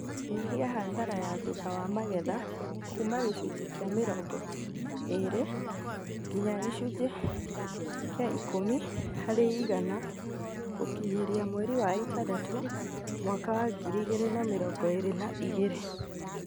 Nyihia hathara ya thutha wa magetha kuuma gĩcunjĩ kĩa mĩrongo ĩrĩ nginya gĩcunjĩ kĩa ikũmi harĩ igana gũkinyĩria mweri wa ĩtandatũ mwaka wa ngiri igĩrĩ na mĩrongo ĩrĩ na igĩrĩ